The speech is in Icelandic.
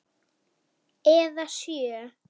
Eða sjö.